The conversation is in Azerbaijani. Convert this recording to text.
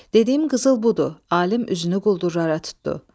Dediyim qızıl budur, alim üzünü quldurlara tutdu.